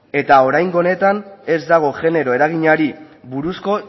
eta oraingo honetan ez dago genero eraginari buruzko